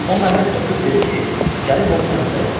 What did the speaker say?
O məni öpüb dedi ki, gəlib onun yanında yatım.